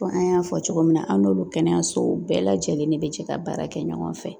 Fɔ an y'a fɔ cogo min na an n'olu kɛnɛyasow bɛɛ lajɛlen de bɛ jɛ ka baara kɛ ɲɔgɔn fɛ